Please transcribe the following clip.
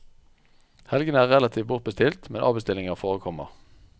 Helgene er relativt bortbestilt, men avbestillinger forekommer.